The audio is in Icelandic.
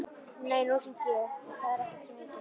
Nei, nú hringi ég, það er ekkert sem heitir!